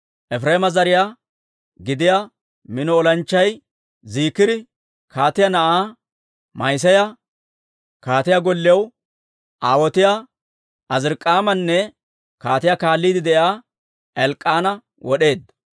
Efireema zariyaa gidiyaa mino olanchchay Ziikiri kaatiyaa na'aa Ma'iseeya, kaatiyaa gollew aawotiyaa Azirik'aamanne kaatiyaa kaalliide de'iyaa Elk'k'aana wod'eedda.